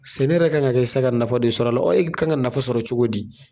Sɛnɛ yɛrɛ ka kan ka kɛ sisan ka nafa de sɔrɔ la o e ka kan ka nafa sɔrɔ cogo di.